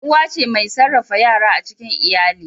Uwa ce mai sarrafa yara a cikin iyali.